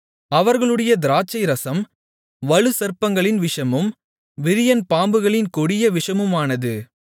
அவர்களுடைய திராட்சைரசம் வலுசர்ப்பங்களின் விஷமும் விரியன் பாம்புகளின் கொடிய விஷமுமானது